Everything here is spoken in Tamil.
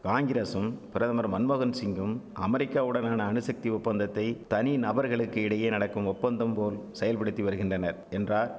காங்கிரசும் பிரதமர் மன்மோகன் சிங்கும் அமெரிக்காவுடனான அணுசக்தி ஒப்பந்தத்தை தனி நபர்களுக்கிடையே நடக்கும் ஒப்பந்தம்போல் செயல்படுத்திவருகின்றனர் என்றார்